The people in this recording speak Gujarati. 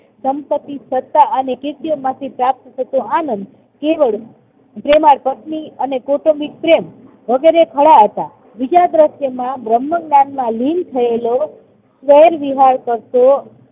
સંપત્તિ, સત્તા અને કીર્તિ માંથી પ્રાપ્ત થતો આનંદ કેવળ જેમાં પત્ની અને કૌટુંબિક પ્રેમ વગેરે ખડા હતા. બીજા દ્રશ્યમાં બ્રહ્મજ્ઞાનમાં લીન થયેલો વિહાર કરતો